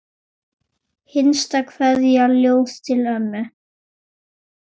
Hinsta kveðja, ljóð til ömmu.